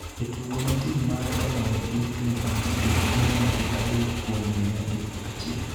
e tugo ma tim mare oloyo gi Clippers gi mia gi adek kuom mia gi achiel.